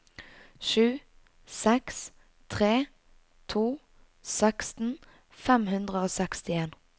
sju seks tre to seksten fem hundre og sekstien